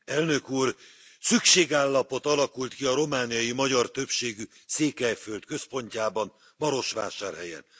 Tisztelt Elnök úr! Szükségállapot alakult ki a romániai magyar többségű Székelyföld központjában, Marosvásárhelyen.